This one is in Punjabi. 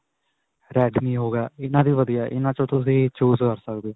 redme ਹੋ ਗਿਆ. ਇਨ੍ਹਾਂ ਦੀ ਵਧੀਆ ਇਨ੍ਹਾਂ ਵਿੱਚੋਂ ਤੁਸੀਂ choose .